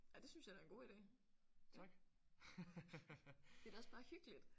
Ej det synes jeg da er en god ide. Det er da også bare hyggeligt